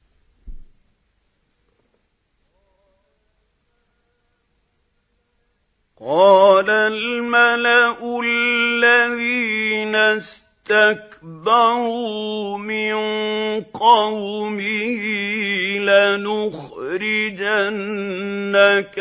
۞ قَالَ الْمَلَأُ الَّذِينَ اسْتَكْبَرُوا مِن قَوْمِهِ لَنُخْرِجَنَّكَ